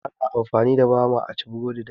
Ana amfani da bama a ci burodi dashi